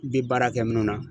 Bi baara kɛ minnu na.